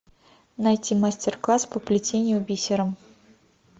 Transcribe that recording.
найти мастер класс по плетению бисером